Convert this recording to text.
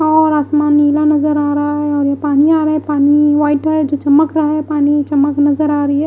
और आसमान नीला नजर आ रहा है और ये पानी आ रहा है पानी व्हाइट व्हाइट जो चमक रहा है पानी चमक नजर आ रही है।